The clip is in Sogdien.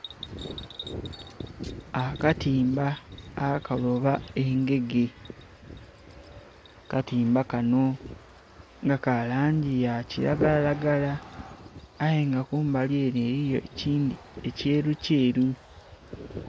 Akatimba akaloba engege akatimba kano kalangi yakilagaralagara aye nga kumbali ere eliyo ekindhi ekyerukyeru.